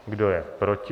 Kdo je proti?